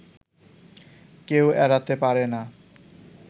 কেউ এড়াতে পারেনা